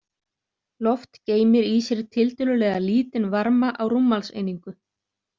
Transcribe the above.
Loft geymir í sér tiltölulega lítinn varma á rúmmálseiningu.